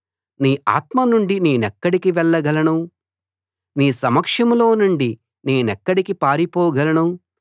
నీ ఆత్మ నుండి నేనెక్కడికి వెళ్ళగలను నీ సమక్షంలో నుండి నేనెక్కడికి పారిపోగలను